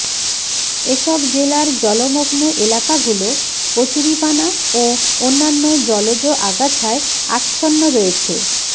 এসব জেলার জলমগ্ন এলাকাগুলো কচুরিপানা ও অন্যান্য জলজ আগাছায় আচ্ছন্ন রয়েছে